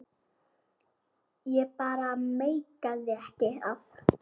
Ég bara meikaði ekki að.